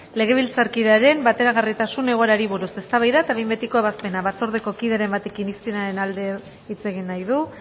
legebiltzarkidearen bateragarritasun egoerari buruz eztabaida eta behin betiko ebazpena batzordeko kideren batek irizpenaren alde hitz egin nahi du